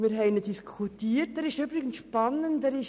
Wir haben ihn diskutiert.